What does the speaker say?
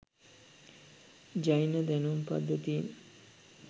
ජෛන දැනුම් ප්ද්ධතීන්